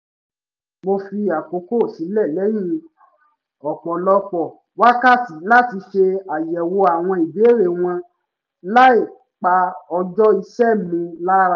mo fi àkókò sílẹ̀ lẹ́yìn ọ̀pọ̀lọpọ̀ wákàtí láti ṣe àyẹ̀wò àwọn ìbéèrè wọn láì pa ọjọ́ iṣẹ́ mi lára